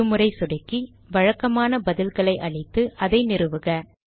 இரு முறை சொடுக்கி வழக்கமான பதில்களை அளித்து அதை நிறுவுக